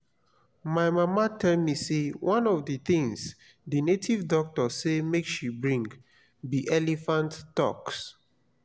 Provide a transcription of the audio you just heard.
my mama tell me say one of the things the native doctor say make she bring be elephant tusk